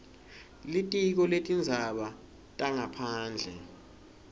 litiko letindzaba tangaphandle